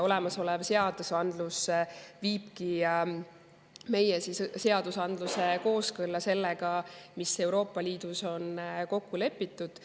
Olemasolev viibki meie seadusandluse kooskõlla sellega, mis on Euroopa Liidus kokku lepitud.